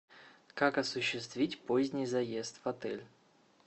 как осуществить поздний заезд в отель